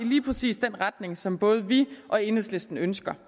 i lige præcis den retning som både vi og enhedslisten ønsker